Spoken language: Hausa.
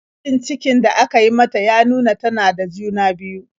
Gwajin cikin da aka yi mata ya nuna tana da juna-biyu.